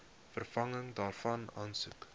vervanging daarvan aansoek